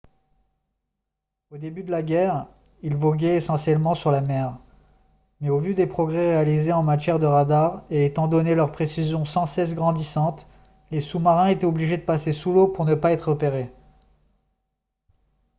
au début de la guerre ils voguaient essentiellement sur la mer mais au vu des progrès réalisés en matière de radars et étant donné leur précision sans cesse grandissante les sous-marins étaient obligé de passer sous l'eau pour ne pas être repérés